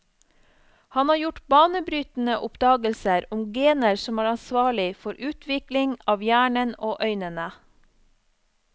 Han har gjort banebrytende oppdagelser om gener som er ansvarlig for utvikling av hjernen og øynene.